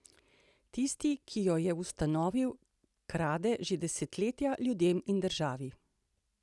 Tisti, ki jo je ustanovil, krade že desetletja ljudem in državi!